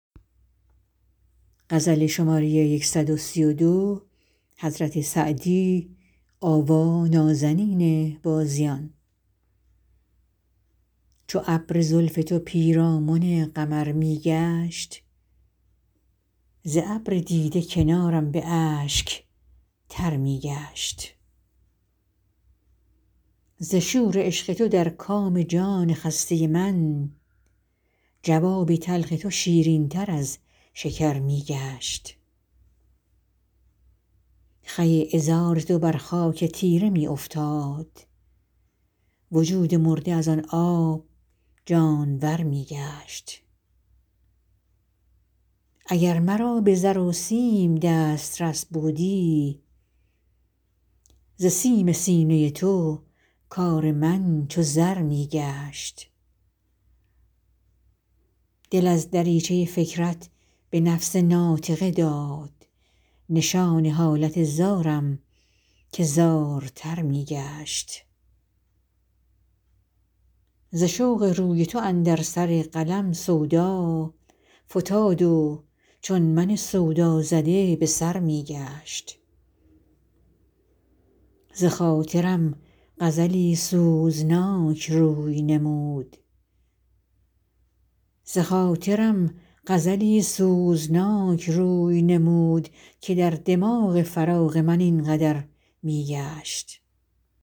چو ابر زلف تو پیرامن قمر می گشت ز ابر دیده کنارم به اشک تر می گشت ز شور عشق تو در کام جان خسته من جواب تلخ تو شیرین تر از شکر می گشت خوی عذار تو بر خاک تیره می افتاد وجود مرده از آن آب جانور می گشت اگر مرا به زر و سیم دسترس بودی ز سیم سینه تو کار من چو زر می گشت دل از دریچه فکرت به نفس ناطقه داد نشان حالت زارم که زارتر می گشت ز رشک قد تو اندر سر قلم سودا فتاد و چون من سودازده به سر می گشت بخاطرم غزلی سوزناک روی نمود که در دماغ خیال من این قدر می گشت